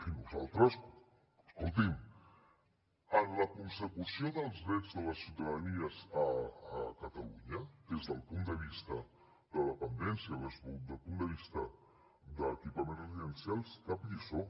i nosaltres escolti’m en la consecució dels drets de la ciutadania a catalunya des del punt de vista de dependència o des del punt de vista d’equipaments residencials cap lliçó